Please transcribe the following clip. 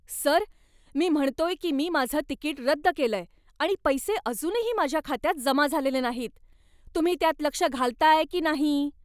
Sir! मी म्हणतोय की मी माझं तिकीट रद्द केलंय आणि पैसे अजूनही माझ्या खात्यात जमा झालेले नाहीत. तुम्ही त्यात लक्ष घालताय की नाही?